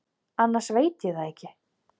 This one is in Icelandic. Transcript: Annars veit ég það ekki.